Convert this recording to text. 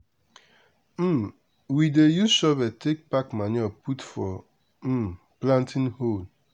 um we dey use shovel take pack manure put for um planting hole.